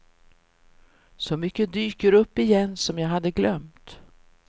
Så mycket dyker upp igen som jag hade glömt.